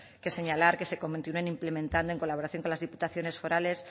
que señalar que se implementando en colaboración con las diputaciones forales